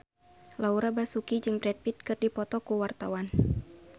Laura Basuki jeung Brad Pitt keur dipoto ku wartawan